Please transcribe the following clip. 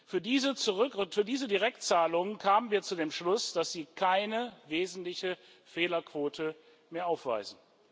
Für diese Direktzahlungen kamen wir zu dem Schluss, dass sie keine wesentliche Fehlerquote mehr aufweisen.